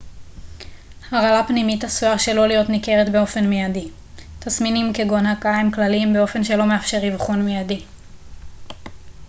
הרעלה פנימית עשויה שלא להיות ניכרת באופן מיידי תסמינים כגון הקאה הם כלליים באופן שלא מאפשר אבחון מיידי